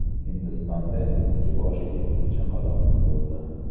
Hindistonda ikki boshli chaqaloq tug‘ildi.